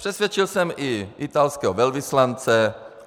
Přesvědčil jsem i italského velvyslance.